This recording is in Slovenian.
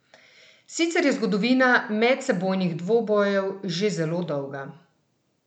Sicer je zgodovina medsebojnih dvobojev že zelo dolga.